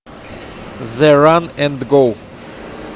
зе ран энд гоу